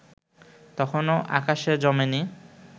তখনো আকাশে জমে নি